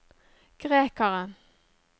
grekeren